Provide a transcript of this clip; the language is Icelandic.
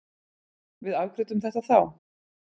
Við afgreiddum þetta þá.